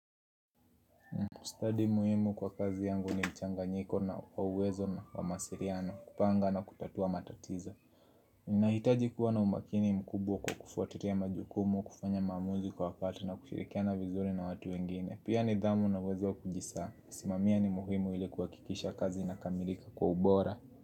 Kustadi muhimu kwa kazi yangu ni mchanganyiko na kwa uwezo na kwa mawasiliano kupanga na kutatua matatizo nahitaji kuwa na umakini mkubwa kwa kufuatilia majukumu, kufanya maamuzi kwa pata na kushirikia na vizuri na watu wengine Pia nidhamu na uwezo kujisaa, simamia ni muhimu ilikuhakikisha kazi inakamilika kwa ubora.